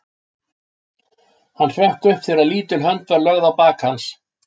Hann hrökk upp þegar lítil hönd var lögð á bak hans.